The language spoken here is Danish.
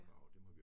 Ja